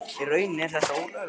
Í rauninni er þetta ólöglegt.